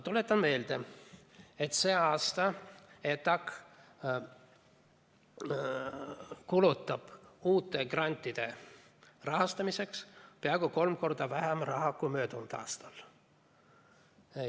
Tuletan meelde, et see aasta ETA kulutab uute grantide rahastamiseks peaaegu kolm korda vähem raha kui möödunud aastal.